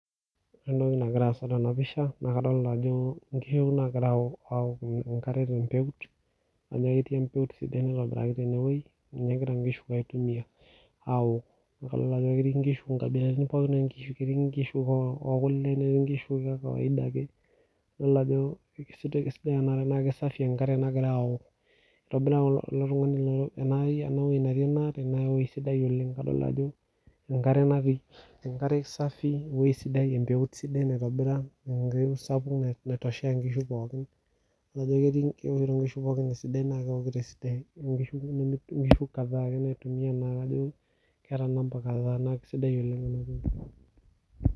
Wore entoki nagira aasa tena pisha naa kadolita ajo inkishu nagira awok enkare tenmpeut kajo ketii embeut sidai naitobiraki tineweji ninye egira inkishu aitumia awok, idolita ajo ketii inkishu inkabilaritin pookin, ketii inkishu ekule, netii inkishu ekawaida ake, idol ajo kisidai enaa naa kisafi enkare nagira awok. Itobira ilo tungani eneweji netii enkare naa eweji sidai oleng kadolita ajo enkare ena pii, enkare safi eweji sidai empeut sidai naitobira embeut sapuk naitoshea inkishu pookin. Naijo ketii inkishu pookin esidai naa kewokito esidai amu inkishu kumok , naa inkishu kadhaa ake naitumia ena naa kajo keeta kadhaa naa kisidai oleng enaa.